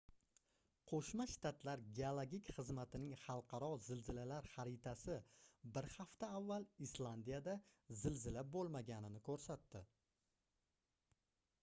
qoʻshma shtatlar geologik xizmatining xalqaro zilzilalar xaritasi bir hafta avval islandiyada zilzila boʻlmaganini koʻrsatdi